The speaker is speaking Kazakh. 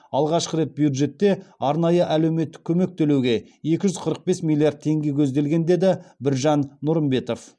алғашқы рет бюджетте арнайы әлеуметтік көмек төлеуге екі жүз қырық бес миллиард теңге көзделген деді біржан нұрымбетов